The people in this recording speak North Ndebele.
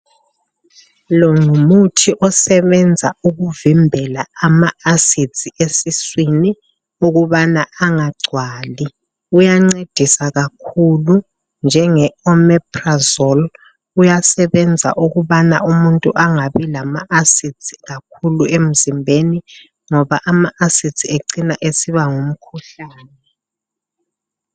Lo ngumuthi osebenza ukuvimbela ama acids esiswini ukubana angagcwali. Uyancedisa kakhulu njenge omeprazole, uyasebenza ukubana umuntu angabi lama acids kakhulu emzimbeni, ngoba ama acids ecina esiba ngumkhuhlane.